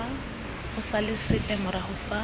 go salwe sepe morago fa